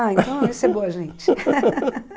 Ah, então esse é boa, gente.